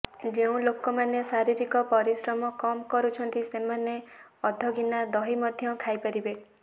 ଯେଉଁ ଲୋକମାନେ ଶାରୀରିକ ପରିଶ୍ରମ କମ୍ କରୁଛନ୍ତି ସେମାନେ ଅଧା ଗିନା ଦହି ମଧ୍ୟ ଖାଇପାରିବେ